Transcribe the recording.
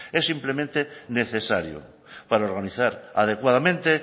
es simplemente necesario para organizar adecuadamente